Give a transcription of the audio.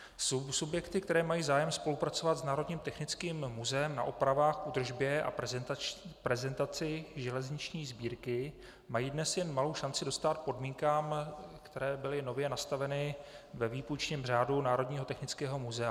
Subjekty, které mají zájem spolupracovat s Národním technickým muzeem na opravách, údržbě a prezentaci železniční sbírky, mají dnes jen malou šanci dostát podmínkám, které byly nově nastaveny ve výpůjčním řádu Národního technického muzea.